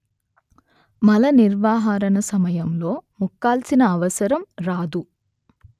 మలనిర్హరణ సమయంలో ముక్కాల్సిన అవసరం రాదు